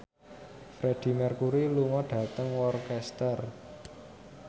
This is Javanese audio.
Freedie Mercury lunga dhateng Worcester